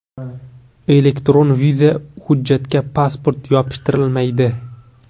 Elektron viza hujjatga (pasport) yopishtirilmaydi.